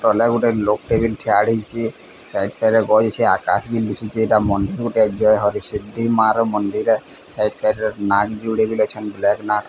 ତଲେ ଗୁଟେ ଲୋକଟିଏ ବି ଠିଆ ହେଇଛି ସାଇଟ୍ ସାଇଟ୍ ରେ ଗଛ ଅଛି ଆକାଶ ବି ଦିଶୁଛେ ଏଟା ମନ୍ଦୀର ଟେ ଦେବି ମାଆ ର ମନ୍ଦିର ସାଇଟ୍ ସାଇଟ୍ ରେ ମା ବି ଅଛନ।